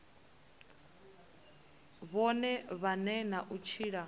vhone vhane na u tshila